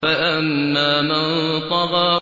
فَأَمَّا مَن طَغَىٰ